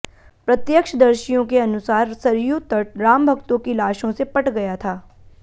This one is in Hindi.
प्रत्यक्षदर्शियों के अनुसार सरयू तट रामभक्तों की लाशों से पट गया था